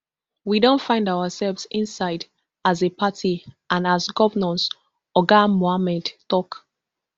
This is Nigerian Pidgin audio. we don find ourselves inside as a party and as governors oga mohammed tok